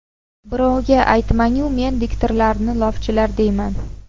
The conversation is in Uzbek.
Birovga aytmang-u, men diktorlarni lofchilar deyman.